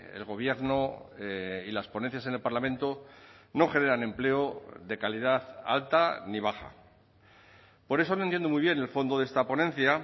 el gobierno y las ponencias en el parlamento no generan empleo de calidad alta ni baja por eso no entiendo muy bien el fondo de esta ponencia